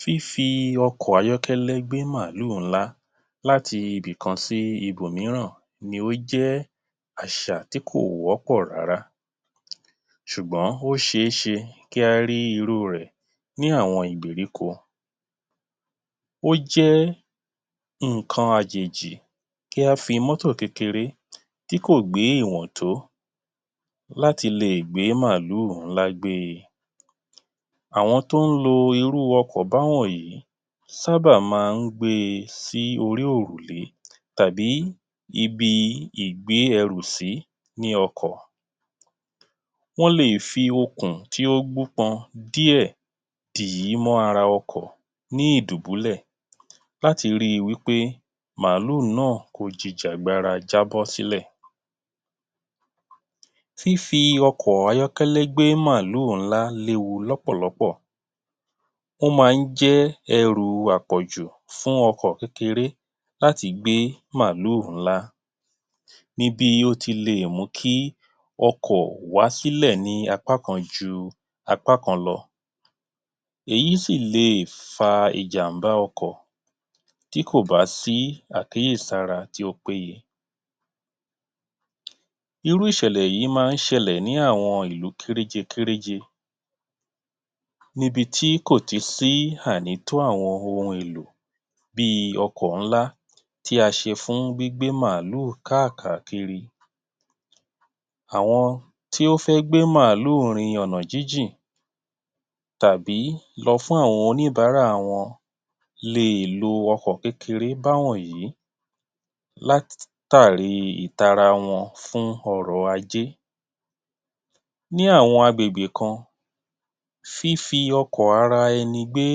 Fífi ọkọ ayọ́kẹ́lẹ́ gbé màlúù ńlá láti ibì kan sí ìbò míràn ni ó jẹ́ àṣà tí kò wọ́pọ̀ rárá ṣùgbọ́n ó ṣe é ṣe kí á rí irú rẹ̀ ní àwọn ìgbèríko. Ó jẹ́ nǹkan àjèjì kí á fi mọ́tọ̀ kékeré tí kò gbé ìwọ̀n tó láti lè gbé màlúù ńlá gbe. Àwọn tó ń lo irú ọkọ̀ bá wọ̀nyí sábà máa ń gbe sí orí òrùlé tàbí ibi ìgbé ẹrú sí ní ọkọ̀. Wọ́n lè fi okùn tí ó gbó pọn díẹ̀ dì í mọ́ ara ọkọ̀ ní ìdùbúlẹ̀ láti ri wí pé màlúù náà kò jìjà gbara jábọ́ sílẹ̀. Fífi ọkọ̀ ayọ́kẹ́lẹ́ gbé màlúù ńlá léwu lọ́pọ̀ lọ́pọ̀, ó máa ń jẹ́ ẹrù àpọ̀jù fún ọkọ̀ kékeré láti gbé màlúù ní bí ó ti lè mú kí ọkọ̀ wá sílẹ̀ ní apá kan ju apá kan lọ. Èyí sì lè fa ìjàmbá ọkọ̀ tí kò bá sí àkíyèsára tí ó péye. Irú ìṣẹ̀lẹ̀ yìí máa ń ṣẹlẹ̀ ní àwọn ìlú kéréje kéréje, níbi tí kò tì sí ànító àwọn ohun èlò bíi: ọkọ̀ ńlá tí a ṣe fún gbígbé màlúù kákàkiri. Àwọn tí ó fẹ́ gbé màlúù rin ọ̀nà jínjìn tàbí lọ fún àwọn oníbaàárà lè lo ọkọ̀ kékeré bá wọ̀nyí látàrí tara wọn fún ọrọ̀-ajé. Ní àwọn àgbègbè kan, fífi ọkọ̀ ara ẹni gbé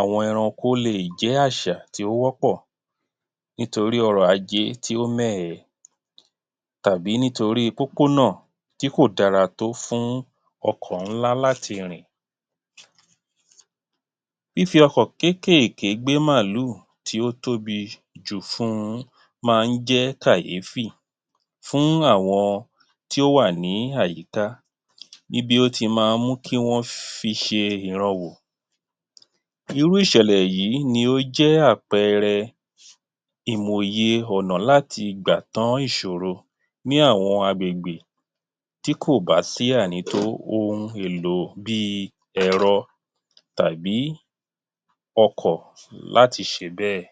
àwọn ẹranko lè jẹ́ àṣà tí o wọ́pọ̀ nítorí ọrọ̀-ajé tí ó mẹ́ ẹ, tàbí nítorí pópó náà tí kò dára tó fún ọkọ̀ ńlá láti rìn. Fífi ọkọ̀ kéékèèké gbé màlúù tí ó tóbi jù fun un máa ń jẹ́ kàyéfì fún àwọn tí ó wà ní àyíká ní bí ó ti máa ń mú kí wọ́n fi ṣe ìran wò. Irú ìṣẹ̀lẹ̀ yìí ni ó jẹ́ àpẹẹrẹ ìmòye ọ̀nà láti gbà tán ìṣòro ní àwọn àgbègbè tí kò bá sì ànító ohun èlò bíi ẹ̀rọ tàbí ọkọ̀ láti ṣe bẹ́ẹ̀.